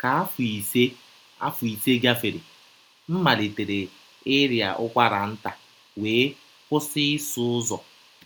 Ka afọ ise afọ ise gafere, m malitere ịrịa ụkwara nta wee kwụsị ịsụ ụzọ.